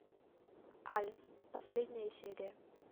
альф последняя серия